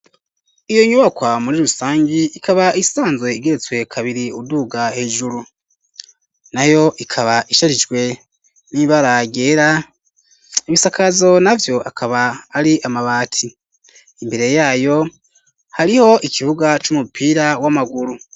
Iyo nyubakwa muri rusangi ikaba isanzwe igeretswe kabiri uduga hejuru nayo ikaba isharijwe n'ibara ryera ibisakazo navyo akaba ari amabati imbere yayo hariho ikibuga c'umupira w'amaguru.